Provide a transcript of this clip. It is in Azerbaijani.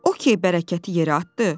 O kə bərəkəti yerə atdı.